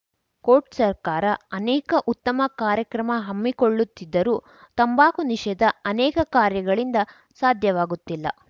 coat ಸರ್ಕಾರ ಅನೇಕ ಉತ್ತಮ ಕಾರ್ಯಕ್ರಮ ಹಮ್ಮಿಕೊಳ್ಳುತ್ತಿದ್ದರೂ ತಂಬಾಕು ನಿಷೇಧ ಅನೇಕ ಕಾರ್ಯಗಳಿಂದ ಸಾಧ್ಯವಾಗುತ್ತಿಲ್ಲ